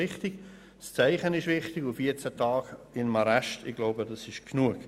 Wichtig ist es, ein Zeichen zu setzen, und 14 Tage im Arrest zu verbringen ist genug.